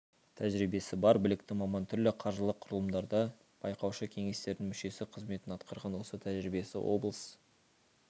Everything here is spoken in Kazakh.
тәжірибесі бар білікті маман түрлі қаржылық құрылымдарда байқаушы кеңестердің мүшесі қызметін атқарған осы тәжірибесі облыс